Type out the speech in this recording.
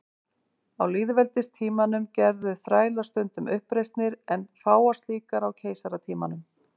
Á lýðveldistímanum gerðu þrælar stundum uppreisnir en fáar slíkar á keisaratímanum.